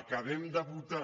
acabem de votar